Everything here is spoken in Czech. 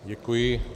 Děkuji.